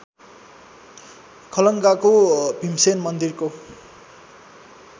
खलङ्गाको भीमसेन मन्दिरको